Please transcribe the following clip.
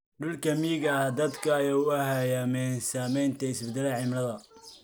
Dhulka miyiga ah, dadku way u hayaameen saamaynta isbeddelka cimilada.